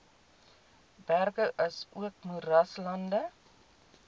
berge asook moeraslande